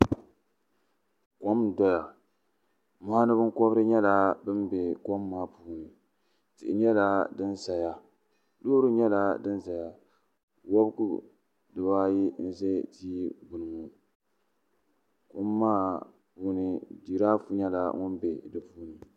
kom n-doya mɔɣini binkɔbiri nyɛla bɛ be kom maa puuni tihi nyɛla din saya loori nyɛla din zaya wɔbigu dibaayi n-ʒe tia gbunni ŋɔ kom maa puuni jiraafu nyɛla din be di puuni.